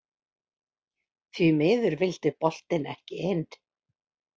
Því miður vildi boltinn ekki inn.